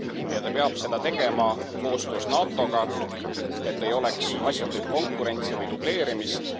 Ja ta peab seda tegema koostöös NATOga, et ei oleks asjatut konkurentsi või dubleerimist.